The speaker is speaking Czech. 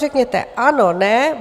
Řekněte ano, ne.